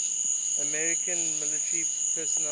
american military personnel